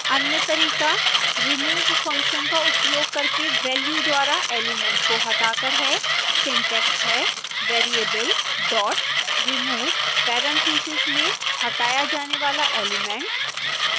अन्य तरीका remove function का उपयोग करके वेल्यू द्वारा एलिमेंट को हटाकर है